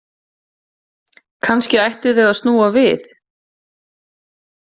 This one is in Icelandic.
Kannski ættu þau að snúa við.